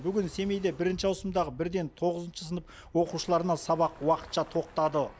бүгін семейде бірінші ауысымдағы бірден тоғызыншы сынып оқушыларына сабақ уақытша тоқтады